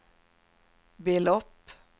belopp